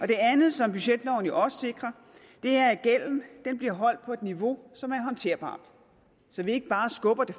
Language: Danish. det andet som budgetloven jo også sikrer er at gælden bliver holdt på et niveau som er håndterbart så vi ikke bare skubber det